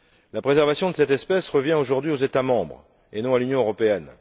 La préservation de cette espèce revient aujourd'hui aux États membres et non à l'Union européenne.